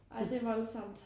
Ej det voldsomt